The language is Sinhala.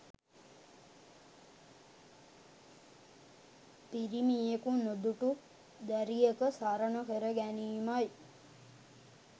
පිරිමියකු නොදුටු දැරියක සරණ කර ගැනීමයි.